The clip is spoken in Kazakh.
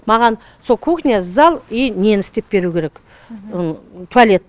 маған сол кухня зал и нені істеп беру керек туалет